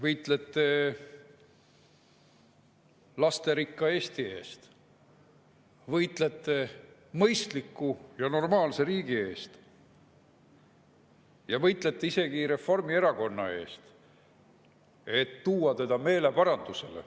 Võitlete lasterikka Eesti eest, võitlete mõistliku ja normaalse riigi eest, võitlete isegi Reformierakonna eest, et tuua teda meeleparandusele.